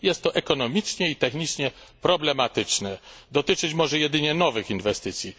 Jest to ekonomicznie i technicznie problematyczne. Może dotyczyć jedynie nowych inwestycji.